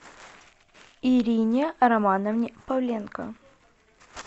ирине романовне павленко